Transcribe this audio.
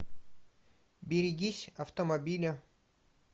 берегись автомобиля